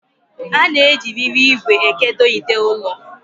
A na-eji riri ìgwè ekedo ide ụlọ.